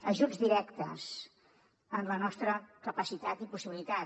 ajuts directes amb la nostra capacitat i possibilitat